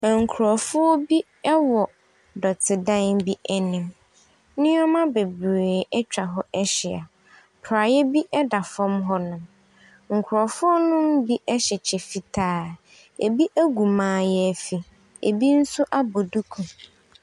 Nkurɔfoɔ wɔ dɔtedan bi anim. Nneɛma bebree atwa hɔ ahyia. Praeɛ bi da fam hɔnom. Nkurɔfonom bi hyɛ kyɛ fitaa, bi agu mayaafi, bi nso abɔ duku.